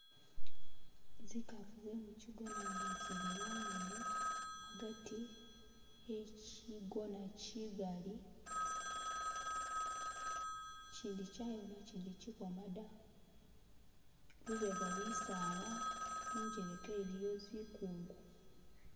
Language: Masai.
Zikafu ze mukigona nga zili wongene agati e'kigona kigali , kindi kyayoma ikindi ki kili kwoma da , lubega bisala injeleka iliyo zikungu.